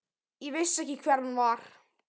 Ég vissi ekki hver hann var.